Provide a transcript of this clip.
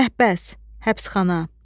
Məhbəs, həbsxana.